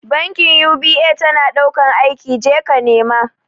Bankin UBA tana ɗaukan aiki, je ka nema